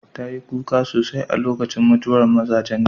Ta yi kuka sosai a lokacin mutuwar mazajenta.